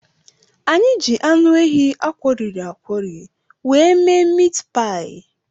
Anyị ji anụ ehi akworiri akwori were mee mit paị.